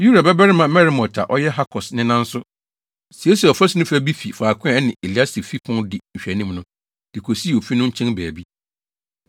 Uria babarima Meremot a ɔyɛ Hakos nena nso, siesiee ɔfasu no fa bi fi faako a ɛne Eliasib fi pon di nhwɛanim no, de kosii ofi no nkyɛn baabi.